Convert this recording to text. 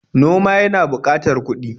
Noma yana buƙatar kuɗi.